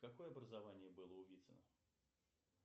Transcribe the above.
какое образование было у вицина